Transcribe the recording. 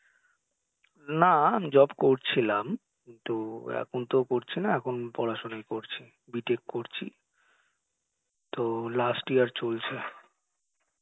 না, job করছিলাম কিন্তু এখন তো করছিনা এখন পড়াশুনোই করছি B Tech করছি তো last year চলছে